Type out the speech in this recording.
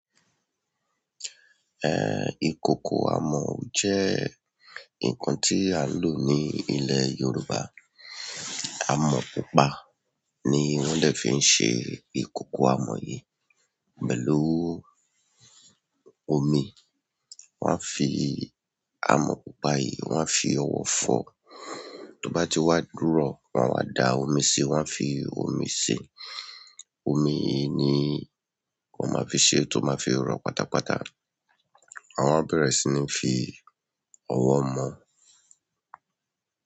Eh, ìkòkò àmù jẹ́ nǹkan tí a ń lò ní ilè Yorùbá. Amò pupa ni wọ́n dẹ̀ fí ṣe ìkòkò amọ̀ yìí. Pẹ̀lú omi, wọ́n á fi amọ̀ pupa yìí, wọ́n á fi ọwọ́ fọ̀ọ́. Tó bá ti wá dúrọ̀, wọ́n á dá omi síi, wọ́n á fi omi sìí. Omi yìí ni wọ́n máa fi ṣe ẹ́ tó máa fi rọ̀ pátápátá. Wọn á bẹ̀rẹ̀ sí ní fi ọwọ́ mu.